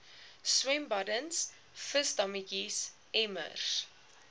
swembaddens visdammetjies emmers